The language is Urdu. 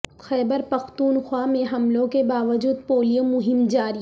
خیبر پختونخوا میں حملوں کے باوجود پولیو مہم جاری